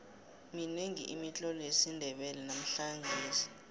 minengi imitlolo yesindebele namhlangesi